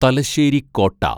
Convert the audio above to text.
Thalassery Kota